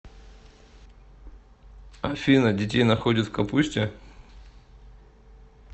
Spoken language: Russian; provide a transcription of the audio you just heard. афина детей находят в капусте